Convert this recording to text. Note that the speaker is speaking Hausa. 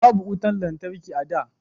Babu wutan lantarki a da